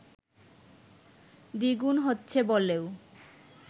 দ্বিগুণ হচ্ছে বলেও